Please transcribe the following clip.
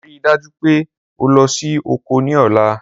Rii daju pe o lọ si oko ni ọla.